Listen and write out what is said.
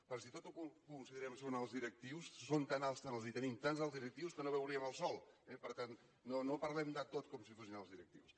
però si tot ho considerem que són alts directius són tan alts i tenim tants alts directius que no veuríem el sol eh per tant no parlem de tot com si fossin alts directius